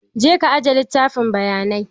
Je ka aje littafin bayanai!